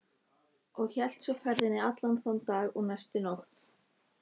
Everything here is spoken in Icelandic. Og hélt svo ferðinni allan þann dag og næstu nótt.